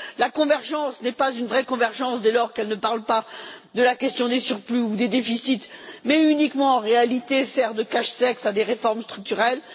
La convergence n'est pas une vraie convergence, dès lors qu'elle ne parle pas de la question des surplus ou des déficits mais sert uniquement en réalité de cache sexe à des réformes structurelles.